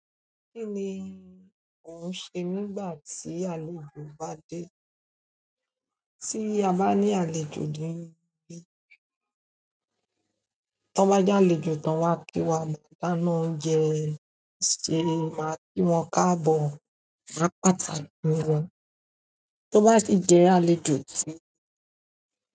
Kí ni ò ń ṣe nígbà tí àlejò bá dé? Tí a bá ní àlejò, tọ́n bá jẹ àlejò ton wá kí wá ni dáná oúnjẹ, ṣé màá kí wọn káàbọ̀? Máa pàtàkì won, tó bá sì jẹ́ àlejò tí.